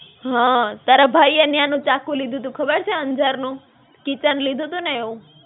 હાં, તારા ભાઈએ ન્યા નું ચાકુ લીધું તું ખબર છે, અંજાર નું? keychain લીધું તું ને એવું.